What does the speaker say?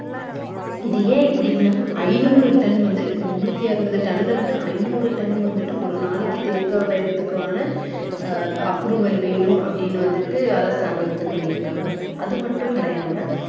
இது ஏன் இப்படின்னா ஐந்நூறு டன் வந்து முன்னூத்தி அறுபது டன்ல இருந்து ஐந்நூறு டன் வந்துட்டு ஒரு நாளைக்கு அஹ் approval வேணும் அப்படீன்னு வந்துட்டு அரசாங்கம் இது பண்ணியிருக்காங்க அது மட்டும் கெடையாம